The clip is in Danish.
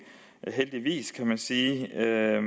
gang vil sige at jeg